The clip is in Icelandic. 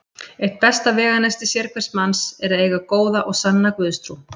Eitt besta veganesti sérhvers manns er að eiga góða og sanna Guðstrú.